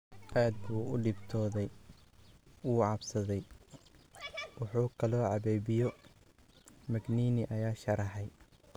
Aad buu u dhibtooday: wuu cabsaday, wuxuu kaloo cabbay biyo, Magnini ayaa sharaxay.